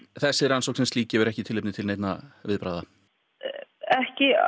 þessi rannsókn sem slík gefur ekki tilefni til neinna viðbragða ekki